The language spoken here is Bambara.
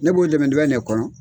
Ne b'o dɛmɛ dɛmɛ ne kɔnɔ.